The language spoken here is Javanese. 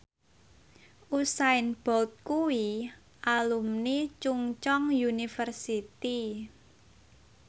Usain Bolt kuwi alumni Chungceong University